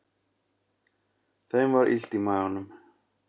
Þeim var illt í maganum.